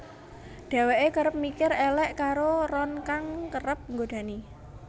Dheweke kerep mikir elek karo Ron kang kerep godani